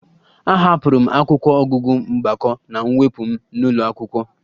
Ahapụrụ m akwụkwọ ọgụgụ mgbakọ na mwepụ m n'ụlọ akwụkwọ